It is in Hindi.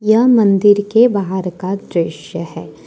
यह मंदिर के बाहर का दृश्य है।